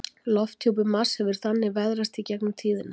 Lofthjúpur Mars hefur þannig veðrast í gegnum tíðina.